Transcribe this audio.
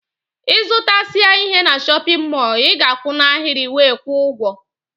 Ịzụtasia ihe n'shóppin mol i ga-akwu n'ahiri wee kwuo ụgwọ.